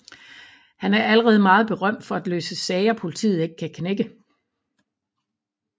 Han er allerede meget berømt for at løse sager politiet ikke kan knække